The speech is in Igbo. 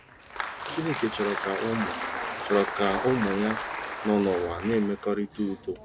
Chineke chọrọ ka ụmụ chọrọ ka ụmụ ya nọ n'ụwa na-enwe mmekọrịta udo.